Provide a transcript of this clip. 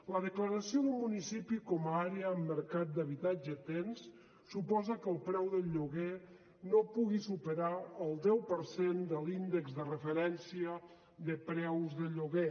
la declaració de municipi com a àrea amb mercat d’habitatge tens suposa que el preu del lloguer no pugui superar el deu per cent de l’índex de referència de preus de lloguer